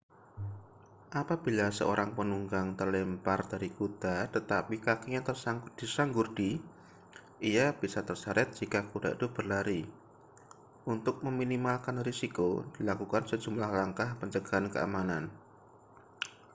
apabila seorang penunggang terlempar dari kuda tetapi kakinya tersangkut di sanggurdi ia bisa terseret jika kuda itu berlari untuk meminimalkan risiko dilakukan sejumlah langkah pencegahan keamanan